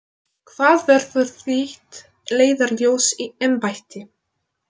Hvað verður þitt leiðarljós í embætti?